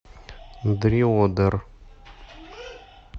дриодер